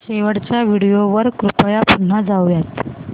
शेवटच्या व्हिडिओ वर कृपया पुन्हा जाऊयात